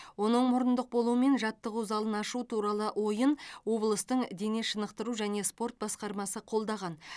оның мұрындық болуымен жаттығу залын ашу туралы ойын облыстың дене шынықтыру және спорт басқармасы қолдаған